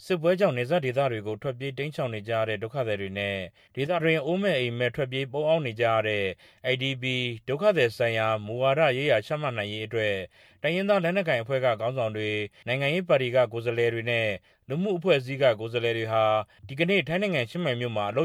စစ်ပွဲကြောင့်နယ်စပ်ဒေသတွေကို ထွက်ပြေးတိမ်းရှောင်နေကြရတဲ့ ဒုက္ခသည်တွေနဲ့ ဒေသတွင်း အိုးမဲ့အိမ်မဲ့ ထွက်ပြေးပုန်းအောင်းနေကြရတဲ့ IDPs ဒုက္ခသည် ဆိုင်ရာ မူဝါဒရေးရာချမှတ်နိုင်ရေးအတွက် တိုင်းရင်းသား လက်နက်ကိုင်အဖွဲ့တွေက ခေါင်းဆောင်တွေ၊ နိုင်ငံရေးပါတီက ကိုယ်စားလှယ်တွေနဲ့ လူမှုအဖွဲ့အစည်း အသီးသီးက ကိုယ်စားလှယ်တွေဟာ ဒီကနေ့ ထိုင်းနိုင်ငံ ချင်းမိုင်မြို့မှာ အလ